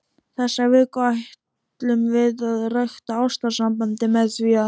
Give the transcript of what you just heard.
Þessa viku ætlum við að rækta ástarsambandið með því að.